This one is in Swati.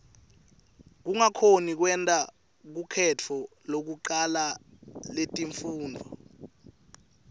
kungakhoni kwenta lukhetfo lekucala letifundvo